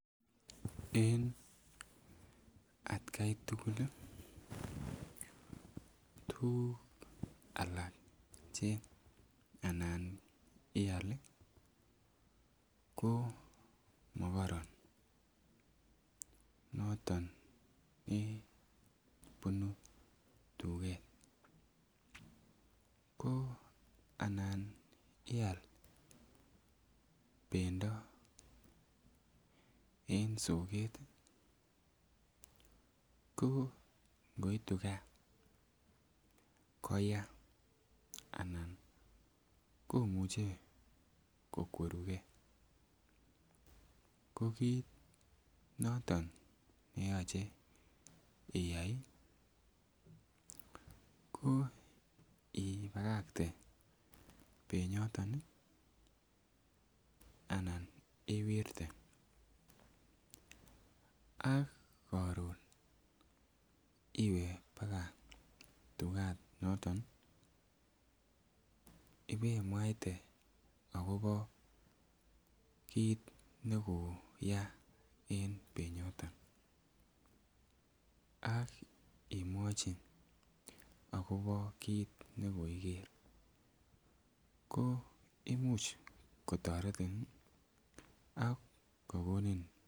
En atkai tugul ih tuguk alak che anan ial ih komokoron noton chebunu tuget ko anan ial bendo en soket ih ko ngoitu gaa koya anan komuche kokwerugee ko kit noton neyoche iyai ih ko ibakakte benyoton ih ana iwirte ak koron iwe baka tuganoton ibemwaite akobo kit nekoya en benyoton ak imwochi akobo kit nekoiker koimuch kotoretin ak kokonin